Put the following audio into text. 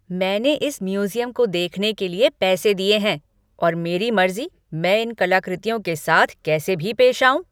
मैंने इस म्यूज़ियम को देखने के लिए पैसे दिए हैं और मेरी मर्ज़ी मैं इन कलाकृतियों के साथ कैसे भी पेश आऊं।